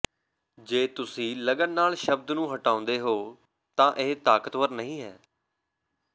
ਜੇ ਤੁਸੀਂ ਲਗਨ ਨਾਲ ਸ਼ਬਦ ਨੂੰ ਹਟਾਉਂਦੇ ਹੋ ਤਾਂ ਇਹ ਤਾਕਤਵਰ ਨਹੀਂ ਹੈ